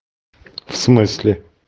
в смысле